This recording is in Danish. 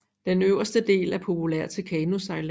Den øverste del er populær til kanosejlads